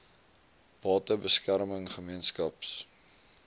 bate beskerming gemeenskaps